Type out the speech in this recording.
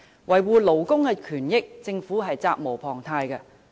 維護勞工權益，政府責無旁貸。